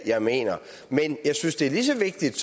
jeg mener men jeg synes det er lige så vigtigt